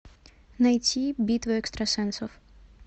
найти битва экстрасенсов